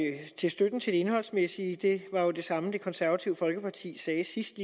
støtten til det indholdsmæssige det var jo det samme det konservative folkeparti sagde sidste